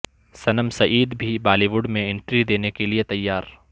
صنم سعید بھی Bollywood میں entry د ینے کیلئے تیار